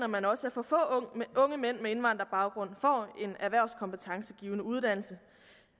man også at for få unge mænd med indvandrerbaggrund får en erhvervskompetencegivende uddannelse